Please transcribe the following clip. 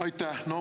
Aitäh!